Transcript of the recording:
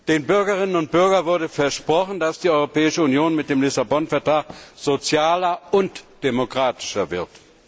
Den Bürgerinnen und Bürgern wurde versprochen, dass die Europäische Union mit dem Vertrag von Lissabon sozialer und demokratischer wird.